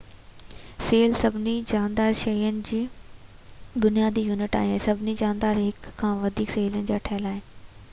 cell سڀني جاندار شين جو بنيادي يونٽ آهي ۽ سڀئي جاندار هڪ يا وڌيڪ سيلن جا ٺهيل آهن